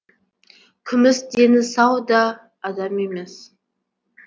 күміс дені сау да адам емес